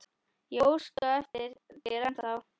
Ég óska eftir þér ennþá.